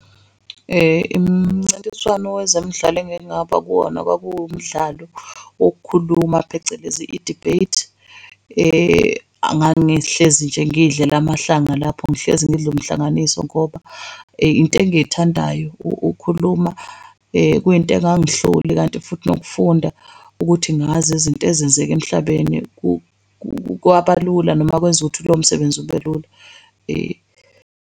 Imincintiswano wezemidlalo engengaba kuwona kwakuwumdlalo wokukhuluma phecelezi i-debate. Ngangihlezi nje ngiy'dlela amahlanga lapho ngihlezi ngidla umhlanganiso ngoba into engiyithandayo ukhuluma kuyinto engangihluli. Kanti futhi nokufunda ukuthi ngazi izinto ezenzeke emhlabeni kwabalula noma kwenza ukuthi lomsebenzi ubelula .